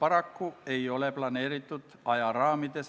Austatud Riigikogu istungi juhataja!